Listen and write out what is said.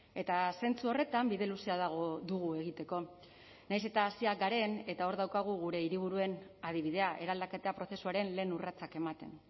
eta zentzu horretan bide luzea dugu egiteko nahiz eta hasiak garen eta hor daukagu gure hiriburuen adibidea eraldaketa prozesuaren lehen urratsak ematen